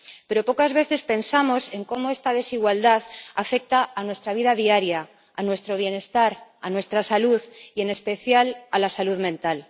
Pero pocas veces pensamos en cómo esta desigualdad afecta a nuestra vida diaria, a nuestro bienestar, a nuestra salud y en especial a la salud mental.